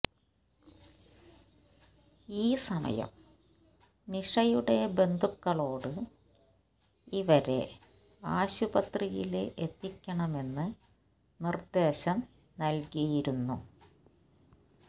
ഈ സമയം നിഷയുടെ ബന്ധുക്കളോട് ഇവരെ ആശുപത്രിയില് എത്തിക്കണമെന്ന് നിർദ്ദേശം നൽകിയിരുന്നു